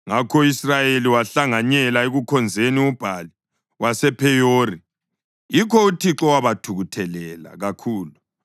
Ngakho u-Israyeli wahlanganyela ekukhonzeni uBhali wasePheyori. Yikho uThixo wabathukuthelela kakhulu.